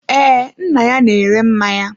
Ee, nna ya na-ere mmanya.